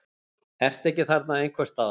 Ertu ekki þarna einhvers staðar?